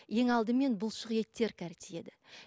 ең алдымен бұлшық еттер